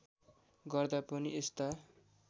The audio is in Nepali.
गर्दा पनि यस्ता